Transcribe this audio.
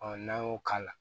n'an y'o k'a la